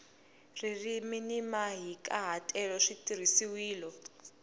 ririmi ni mahikahatelo swi tirhisiwile